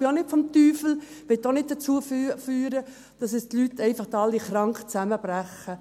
Ich glaube, es ist auch nicht vom Teufel und wird auch nicht dazu führen, dass die Leute einfach alle krank zusammenbrechen.